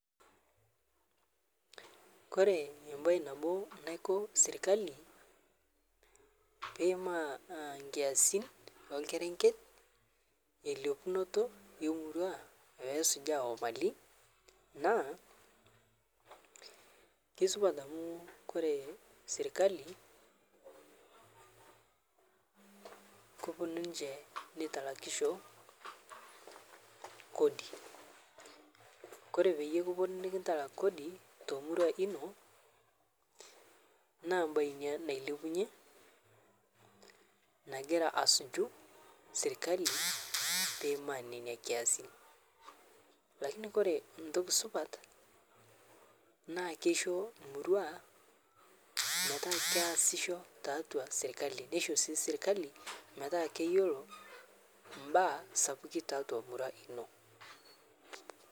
Kore embai naboo naiko sirkali peimaa nkiasin eokerenket eilepunotoo emurua peesuja emalii naa keisupat amu kore sirkali koponuu ninshe neitalakisho kodi, kore peyie eponuu nikintalak kodi tomorua inoo naa mbai inia nailepunye nagira asujuu sirkali peimaa nenia kiasin lakini kore ntoki supat naa keisho murua metaa keasisho taatua sirkali neisho sii sirkali metaa keyeloo mbaa sapukii taatua murua inoo.